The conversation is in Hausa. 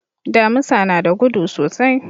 Damusa na da gudu sosai.